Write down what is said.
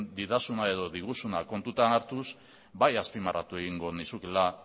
didazuna edo diguzuna kontutan hartuz bai azpimarratu egingo nizukeela